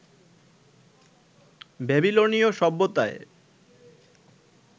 ব্যাবিলনীয় সভ্যতায়